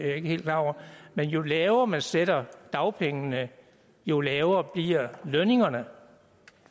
jeg ikke klar over men jo lavere man sætter dagpengene jo lavere bliver lønningerne